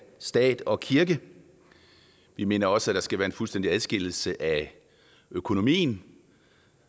stat og kirke vi mener også at der skal være en fuldstændig adskillelse af økonomien